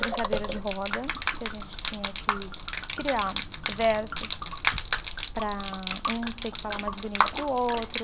Brincadeira de roda, que a gente tinha que criar versos para um ter que falar mais bonito que o outro.